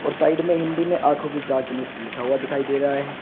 और साइड में हिंदी में आंखों की जांच मुफ्त लिखा हुआ दिखाई दे रहा है।